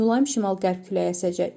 Mülayim şimal-qərb küləyi əsəcək.